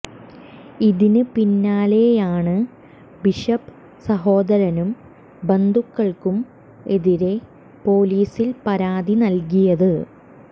ഇതിന് പിന്നാലെയാണ് ബിഷപ്പ് സഹോദരനും ബന്ധുക്കൾക്കും എതിരെ പൊലീസിൽ പരാതി നൽകിയത്